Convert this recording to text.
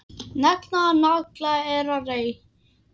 Negla nagla er að reykja.